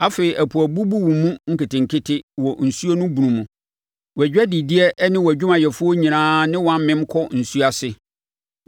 Afei ɛpo abubu wo mu nketenkete wɔ nsuo no bunu mu wʼadwadideɛ ne wʼadwumayɛfoɔ nyinaa ne wo amem kɔ nsuo ase.